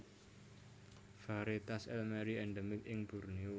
Varietas elmeri endemik ing Borneo